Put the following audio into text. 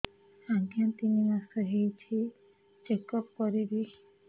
ଆଜ୍ଞା ତିନି ମାସ ହେଇଛି ଚେକ ଅପ କରିବି